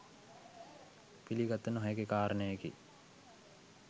පිළිගත නොහැකි කාරණයකි.